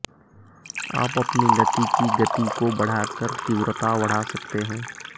आप अपनी गति की गति को बढ़ाकर तीव्रता बढ़ा सकते हैं